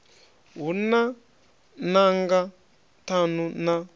hu na nanga ṱhanu na